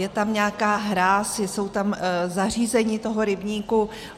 Je tam nějaká hráz, jsou tam zařízení toho rybníku.